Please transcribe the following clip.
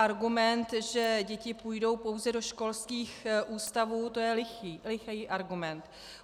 Argument, že děti půjdou pouze do školských ústavů, to je lichý argument.